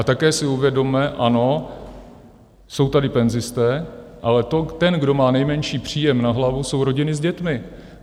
A také si uvědomme, ano, jsou tady penzisté, ale ten, kdo má nejmenší příjem na hlavu jsou rodiny s dětmi.